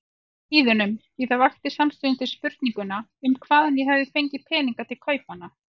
Hlíðunum, því það vekti samstundis spurninguna um hvaðan ég hefði fengið peninga til kaupanna.